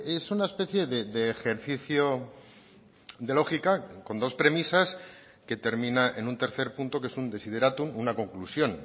es una especie de ejercicio de lógica con dos premisas que termina en un tercer punto que es un desiderátum una conclusión